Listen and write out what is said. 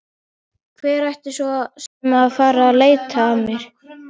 Hver ætti svo sem að fara að leita að mér?